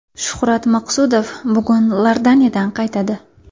Shuhrat Maqsudov bugun Iordaniyadan qaytadi.